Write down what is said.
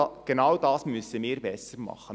Genau das müssen wir besser machen.